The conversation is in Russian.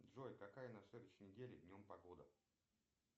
джой какая на следующей неделе днем погода